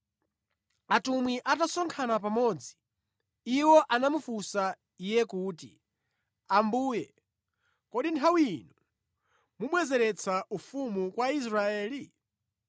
Atumwi atasonkhana pamodzi, iwo anamufunsa Iye kuti, “Ambuye, kodi nthawi ino mubwezeretsa ufumu kwa Israeli?”